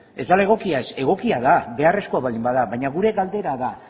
ez dela egokia ez egokia da beharrezkoa baldin bada baina gure galdera da